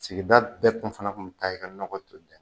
Sigida bɛɛ kun fana kun mi taa i ka nɔgɔ ton n ɲe.